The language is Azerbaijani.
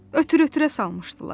Ötürə-ötürə salmışdılar.